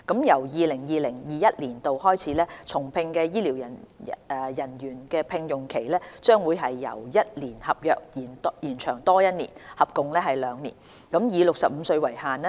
由 2020-2021 年度開始，重聘的醫療人員的聘用期將會由1年合約，延長多1年，合共兩年，以65歲為限。